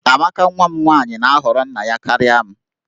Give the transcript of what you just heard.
Amaka nwa m nwaanyị na-ahọrọ nna ya karịa m